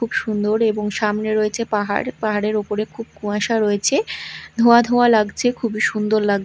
খুব সুন্দর এবং সামনে রয়েছে পাহাড় পাহাড়ের উপরে খুব কুয়াশা রয়েছে ধোঁয়া ধোঁয়া লাগছে খুবই সুন্দর লাগ --